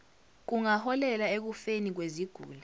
kungaholela ekufeni kweziguli